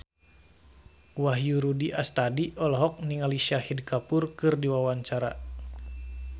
Wahyu Rudi Astadi olohok ningali Shahid Kapoor keur diwawancara